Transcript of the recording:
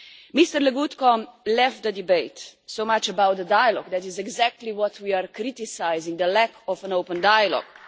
Mr Legutko left the debate so much for dialogue. That is exactly what we are criticising the lack of an open dialogue.